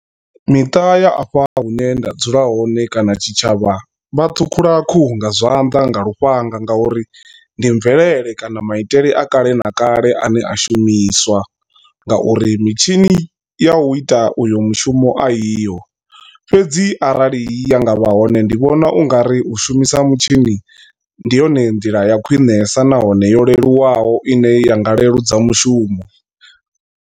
Miṱa ya afha hune nda dzula hone kana tshitshavha vha thukhula khuhu nga zwanḓa nga lufhanga nga uri ndi mvelele kana maitele a kale na kale ane a shumiswa. Nga uri mitshini ya u ita uyo mushumo a iho fhedzi arali ya nga vha hone ndi vhona ungari u shumisa mutshini ndi yone nḓila ya khwinesa nahone yo leluwaho ine ya nga leludza mushumo.